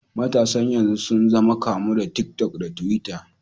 Matasan yanzu sun zama kamu da tik tak da tiwitta.